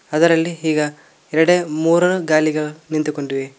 ಅದರಲ್ಲಿ ಹೀಗ ಎರಡೇ ಮುರ ಗಾಲಿಗ ನಿಂತುಕೊಂಡಿವೆ.